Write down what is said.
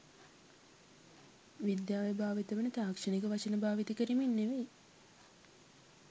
විද්‍යාවේ භාවිත වන තාක්ෂණික වචන භාවිත කරමින් නෙමෙයි.